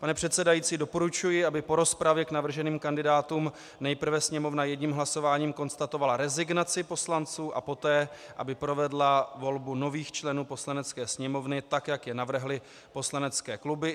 Pane předsedající, doporučuji, aby po rozpravě k navrženým kandidátům nejprve Sněmovna jedním hlasováním konstatovala rezignaci poslanců a poté aby provedla volbu nových členů Poslanecké sněmovny, tak jak je navrhly poslanecké kluby.